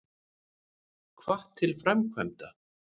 Hvatt til framkvæmda